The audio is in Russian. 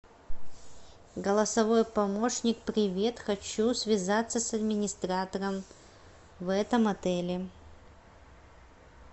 голосовой помощник привет хочу связаться с администратором в этом отеле